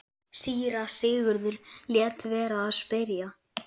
Síra Sigurður lét vera að spyrja.